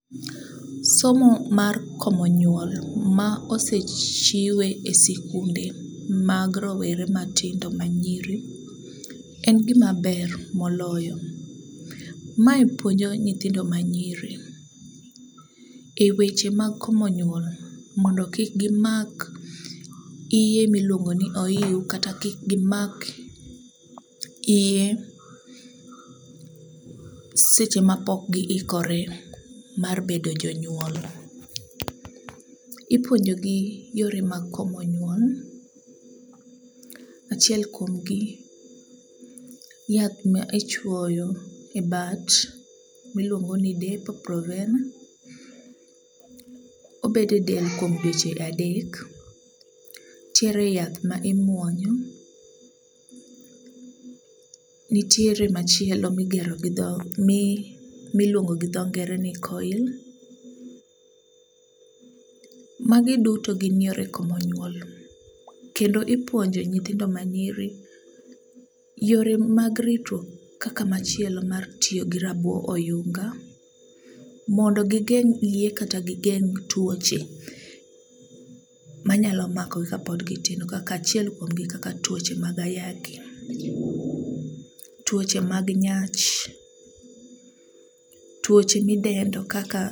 Somo mar komo nyuol ma osechiwe e sikunde mag roweew matindo manyiri en gimaber moloyo, mae puonjo nyithindo manyiri e weche mag komo nyuol mondo kik gimak iye miluongo ni oiw kata kik gimak iye seche mapok giikore mar bedo jonyuol. Ipuonjogi yore mag komo nyuol achiel kuom gi ,yath ma ichwoyo e bat miluongoni depo proverna, obedo e del kuom dweche adek. Ntiere yath ma imuonyo, nitiere machielo miluongo gi dho ngere ni coil. Magi duto gin yore komo nyuol kendo ipuonjo nyithindo manyiri yore mag ritruok kaka machielo mar tiyo gi rabo oyunga, mondo gigeng' iye kata gigeng' tuoche manyalo makogi kapod gitindo kaka achiel kuom gi kaka tuoche mag ayaki, tuoche mag nyach, tuoche midendo kaka.